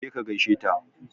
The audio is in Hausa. Je ka gaishe ta!